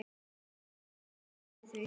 Haukur tók eftir því.